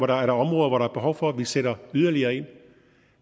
der er områder hvor der er behov for at vi sætter yderligere ind